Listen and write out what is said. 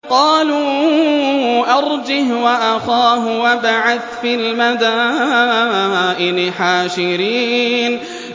قَالُوا أَرْجِهْ وَأَخَاهُ وَابْعَثْ فِي الْمَدَائِنِ حَاشِرِينَ